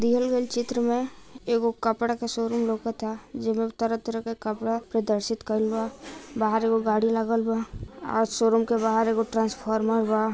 दियल गइल चित्र में एगो कपड़ा का शोरूम लौकता जेमे तरह-तरह का कपड़ा प्रदर्शित करल बा| बाहर एगो गाड़ी लागल बा और शोरूम के बाहर एगो ट्रांसफार्मर बा।